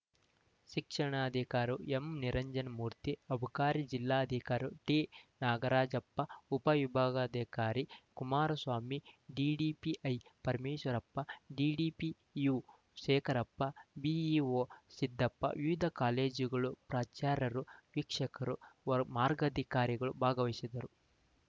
ಶಿಕ್ಷಣಾಧಿಕಾರು ಎಂನಿರಂಜನ ಮೂರ್ತಿ ಅಬಕಾರಿ ಜಿಲ್ಲಾ ಅಧಿಕಾರಿ ಟಿನಾಗರಾಜಪ್ಪ ಉಪ ವಿಭಾಗಾಧಿಕಾರಿ Kumaraswamy DDPI Parameshwarappa DDPU Shekharappa BEO Siddappa ವಿವಿಧ ಕಾಲೇಜುಗಳ ಪ್ರಚಾರರು ವೀಕ್ಷಕರು ಮಾರ್ಗಾಧಿಕಾರಿಗಳು ಭಾಗವಹಿಸಿದ್ದರು